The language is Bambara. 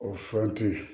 O furati